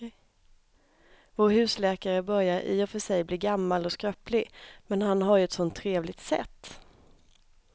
Vår husläkare börjar i och för sig bli gammal och skröplig, men han har ju ett sådant trevligt sätt!